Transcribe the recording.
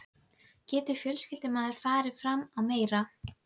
Getur fjölskyldumaður farið fram á meira?